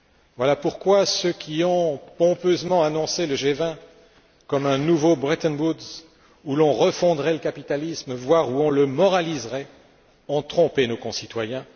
Voilà pourquoi ceux qui ont pompeusement annoncé le G20 comme un nouveau Bretton Woods où l'on refondrait le capitalisme, voire où on le moraliserait, ont trompé nos concitoyens.